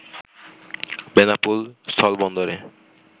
Benapole স্থলবন্দরে